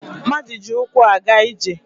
Mmadụ ji ụkwụ a ga-ije